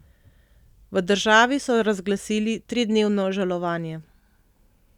V državi so razglasili tridnevno žalovanje.